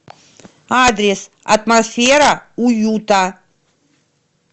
адрес атмосфера уюта